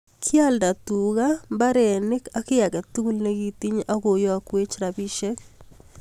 Kialdaa tuga mbarenik ak kiy age tugul nekitinye agoyakweek rapisiek